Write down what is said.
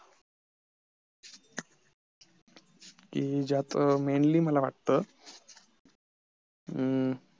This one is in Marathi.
कि ज्यात mainly मला वाटत अं